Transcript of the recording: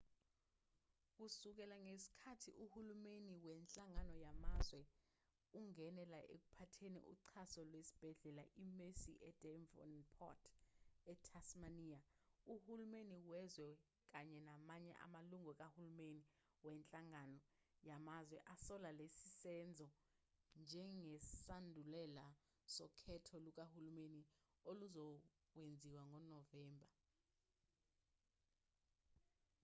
kusukela ngesikhathi uhulumeni wenhlangano yamazwe ungenela ekuphatheni uxhaso lwesibhedlela i-mersey edevonport ethasmaniya uhulumeni wezwe kanye namanye amalungu kahulumeni wenhlangano yamazwe asola lesi senzo njengesandulela sokhetho lukahulumeni oluzokwenziwa ngonovemba